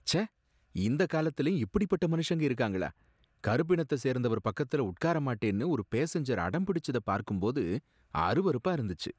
ச்ச! இந்த காலத்துலயும் இப்படிப்பட்ட மனுஷங்க இருக்காங்களா? கருப்பினத்த சேர்ந்தவர் பக்கத்துல உட்கார மாட்டேன்னு ஒரு பேசஞ்சர் அடம் பிடிச்சத பார்க்கும்போது அருவருப்பா இருந்துச்சு.